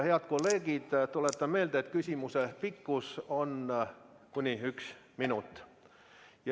Head kolleegid, tuletan meelde, et küsimuse pikkus on kuni üks minut.